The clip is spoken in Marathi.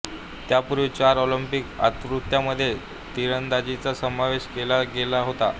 त्यापूर्वी चार ऑलिंपिक आवृत्त्यांमध्ये तिरंदाजीचा समावेश केला गेला होता